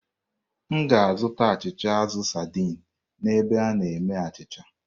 M ga-azụta achịcha azụ saidin n'ebe a na-eme achịcha.